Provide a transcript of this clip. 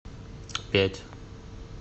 пять